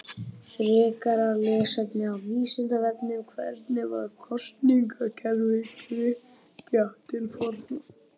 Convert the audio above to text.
Frekara lesefni á Vísindavefnum: Hvernig var kosningakerfi Grikkja til forna?